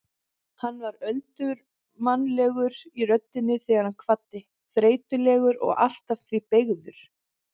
Hann var öldurmannlegur í röddinni þegar hann kvaddi, þreytulegur og allt að því beygður.